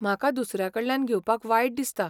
म्हाका दुसऱ्यांकडल्यान घेवपाक वायट दिसता.